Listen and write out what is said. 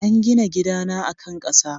An gina gidana a kan ƙasa.